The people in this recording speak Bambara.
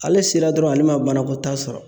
Ale sera dɔrɔnw , ale ma banakɔtaa sɔrɔ